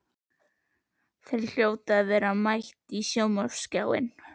Þau hljóta að vera mætt á sjónvarpsskjáinn.